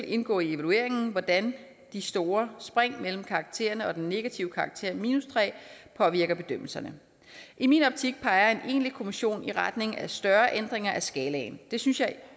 indgå i evalueringen hvordan de store spring mellem karaktererne og den negative karakter tre påvirker bedømmelserne i min optik peger en egentlig kommission i retning af større ændringer af skalaen det synes jeg